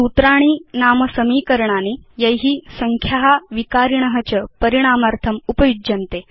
सूत्राणि नाम समीकरणानि यानि संख्या विकारीन् च परिणामार्थं उपयुञ्जते